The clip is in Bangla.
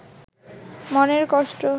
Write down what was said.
মনের কষ্ট